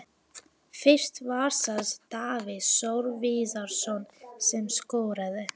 Fyrst var það Davíð Þór Viðarsson sem skoraði.